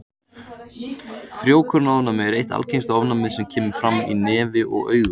Frjókornaofnæmi er eitt algengasta ofnæmið sem kemur fram í nefi og augum.